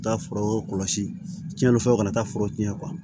U bɛ taa furaw kɔlɔsi tiɲɛni fɛ u kana taa fura cɛn